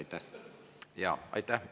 Aitäh!